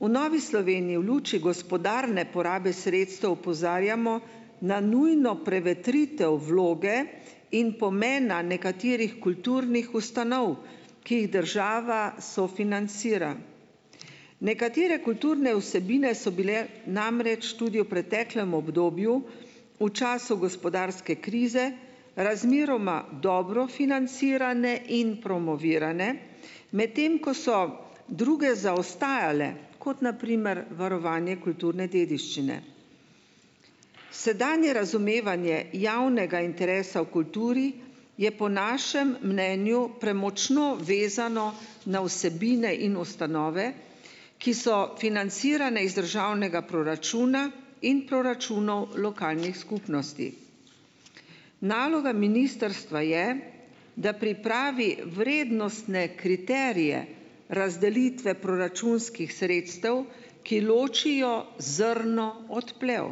V Novi Sloveniji v luči gospodarne porabe sredstev opozarjamo na nujno prevetritev vloge in pomena nekaterih kulturnih ustanov, ki jih država sofinancira. Nekatere kulturne vsebine so bile namreč tudi v preteklem obdobju v času gospodarske krize razmeroma dobro financirane in promovirane, medtem ko so druge zaostajale, kot na primer varovanje kulturne dediščine. Sedanje razumevanje javnega interesa v kulturi je po našem mnenju premočno vezano na vsebine in ustanove, ki so financirane iz državnega proračuna in proračunov lokalnih skupnosti. Naloga ministrstva je, da pripravi vrednostne kriterije razdelitve proračunskih sredstev, ki ločijo zrno od plev.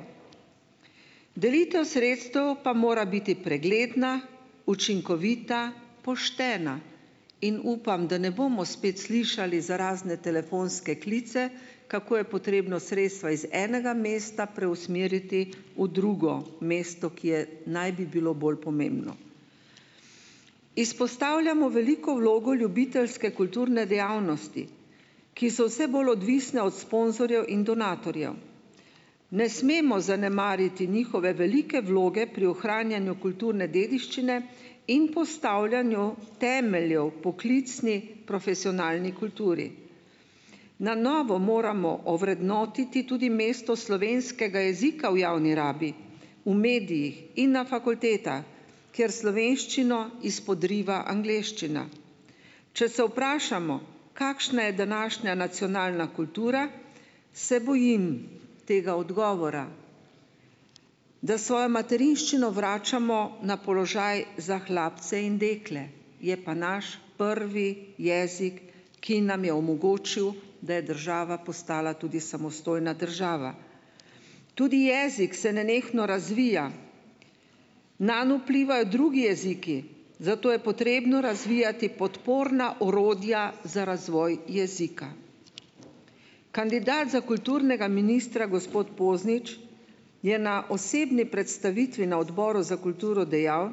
Delitev sredstev pa mora biti pregledna, učinkovita, poštena in upam, da ne bomo spet slišali za razne telefonske klice, kako je potrebno sredstva iz enega mesta preusmeriti v drugo mesto, ki je, naj bi bilo bolj pomembno. Izpostavljamo veliko vlogo ljubiteljske kulturne dejavnosti, ki so vse bolj odvisne od sponzorjev in donatorjev. Ne smemo zanemariti njihove velike vloge pri ohranjanju kulturne dediščine in postavljanju temeljev poklicni, profesionalni kulturi. Na novo moramo ovrednotiti tudi mesto slovenskega jezika v javni rabi, v medijih in na fakultetah, kjer slovenščino izpodriva angleščina. Če se vprašamo, kakšna je današnja nacionalna kultura, se bojim tega odgovora, da svojo materinščino vračamo na položaj za hlapce in dekle, je pa naš prvi jezik, ki nam je omogočil, da je država postala tudi samostojna država. Tudi jezik se nenehno razvija. Nanj vplivajo drugi jeziki, zato je potrebno razvijati podporna orodja za razvoj jezika. Kandidat za kulturnega ministra, gospod Poznič, je na osebni predstavitvi na Odboru za kulturo dejal,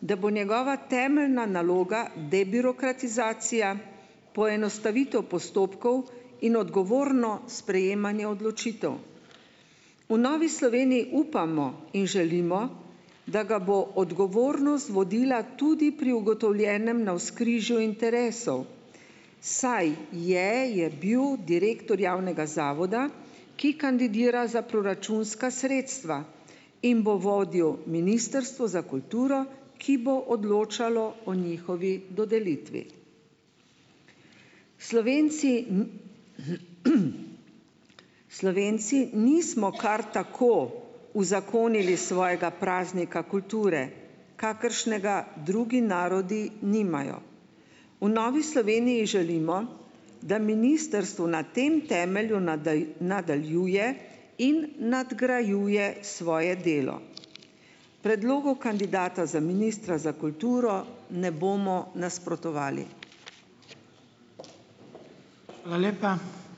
da bo njegova temeljna naloga debirokratizacija, poenostavitev postopkov in odgovorno sprejemanje odločitev. v Novi Sloveniji upamo in želimo, da ga bo odgovornost vodila tudi pri ugotovljenem navzkrižju interesov, saj je, je bil direktor javnega zavoda, ki kandidira za proračunska sredstva in bo vodil ministrstvo za kulturo, ki bo odločalo o njihovi dodelitvi. Slovenci ... Slovenci nismo kar tako uzakonili svojega praznika kulture, kakršnega drugi narodi nimajo. v Novi Sloveniji želimo, da ministrstvo na tem temelju nadaljuje in nadgrajuje svoje delo. Predlogu kandidata za ministra za kulturo ne bomo nasprotovali.